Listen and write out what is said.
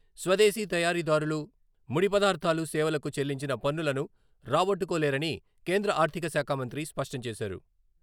స్వదేశీ తయారీదారులు ముడి పదార్థాలు, సేవలకు చెల్లించిన పన్నులను రాబట్టుకోలేరని కేంద్ర ఆర్ధిక శాఖా మంత్రి స్పష్టం చేశారు.